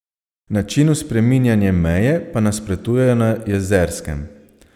Načinu spreminjanje meje pa nasprotujejo na Jezerskem.